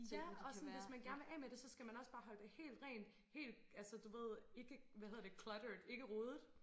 Ja og sådan hvis man gerne vil af med det så skal man også bare holde det helt rent helt altså du ved ikke hvad hedder det cluttered ikke rodet